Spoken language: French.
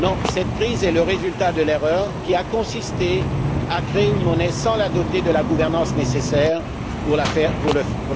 Cette crise est le résultat de l'erreur qui a consisté à créer une monnaie sans la doter de la gouvernance nécessaire pour la faire fonctionner.